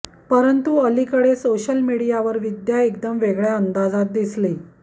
परंतु अलिकडे सोशल मीडियावर विद्या एकदम वेगळ्या अंदाजात दिसली